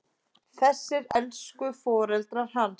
Þessir elsku foreldrar hans!